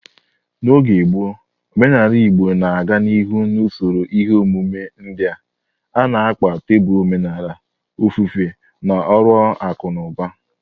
N'oge gboo, omenala Igbo na-aga n'ihu n'usoro ihe omume ndị a, na-akpa teepu omenala, ofufe, na ọrụ akụ na ụba.